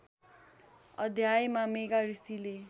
अध्यायमा मेघा ऋषिले